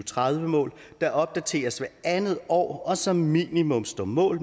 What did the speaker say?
tredive mål der opdateres hvert andet år og som minimum står mål